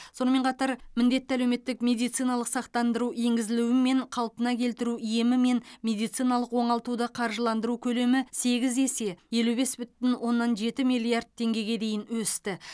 сонымен қатар міндетті әлеуметтік медициналық сақтандыру енгізілуімен қалпына келтіру емі мен медициналық оңалтуды қаржыландыру көлемі сегіз есе елу бес бүтін оннан жеті миллиард теңгеге дейін өсті